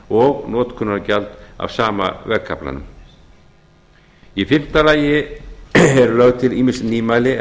og notkunargjald af sama vegkaflanum í fimmta lagi eru lögð til ýmis nýmæli er